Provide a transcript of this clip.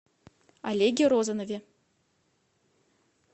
олеге розанове